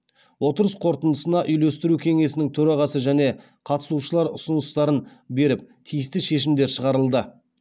отырыс қорытындысында үйлестіру кеңесінің төрағасы және қатысушылар ұсыныстарын беріп тиісті шешімдер шығарылды